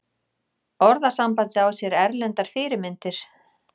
Orðasambandið á sér erlendar fyrirmyndir.